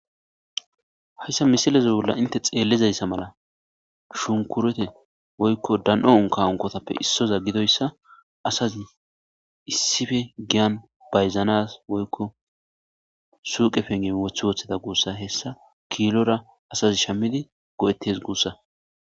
hayssa misileze bolla inte xeellizayssa mala shunkurete woykko dan7on kawonkotappe issoza gidoyssa asazi issife giyan bayzanas woykko suuqe penge wothe wotheda guussa hessa kiilora asazi shammidi go7ettes guussa